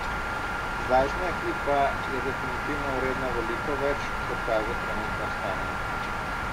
Zdajšnja ekipa je definitivno vredna veliko več, kot kaže trenutno stanje.